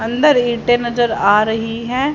अंदर ईंटे नजर आ रही हैं।